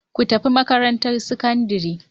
Ku tafi makarantar sakandare.